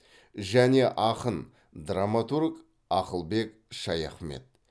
және ақын драматург ақылбек шаяхмет